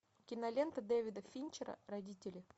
кинолента дэвида финчера родители